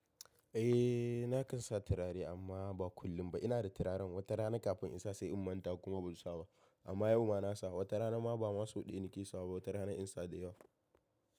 Eh na kan sa turare amma ba kullum ba. Ina da turaren wata rana kafin in sa sai in manta kuma ban sawa ba. Amma yau ma na sa, wata rana ma ba ma sau ɗaya na ke sawa ba, wata rana in sa da yawa.